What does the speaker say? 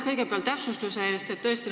Kõigepealt aitäh täpsustuse eest!